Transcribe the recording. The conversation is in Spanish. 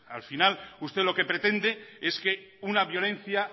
al final usted lo que pretende es que una violencia